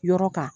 Yɔrɔ kan